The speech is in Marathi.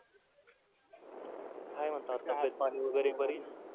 काय म्हणता तब्येत पाणी वगैरे बरी?